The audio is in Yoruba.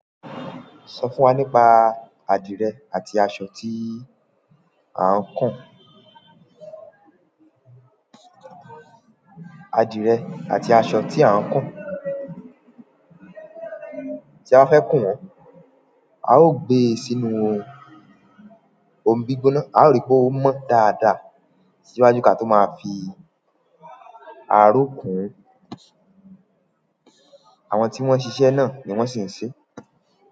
Sọ fún wa nípa adirẹ àti aṣọ tí à ń kùn. Adirẹ àti aṣọ tí à ń kùn. Tí a fẹ́ kùn wọ́n, a ó gbe sínú ohun gbígbóná, a ó rí pé ó mọ dáadáa síwájú kí a tó máa fi aró kùn. Àwọn tí wọ́n ṣiṣẹ́ náà ni wọ́n sì ń ṣe.